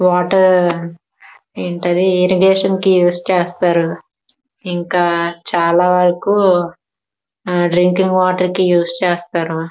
Water ఏంటది కి use చేస్తారు. ఇంకా చాలా వరకు డ్రింకింగ్ వాటర్ కి ఉస్ చేస్తారు.